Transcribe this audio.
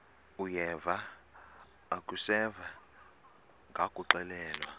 uyeva akuseva ngakuxelelwa